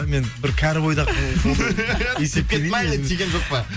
мен бір кәрі бойдақ есептемеймін өзімді тиген жоқ па